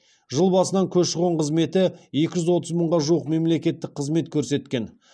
жыл басынан көші қон қызметі екі жүз отыз мыңға жуық мемлекеттік қызмет көрсеткен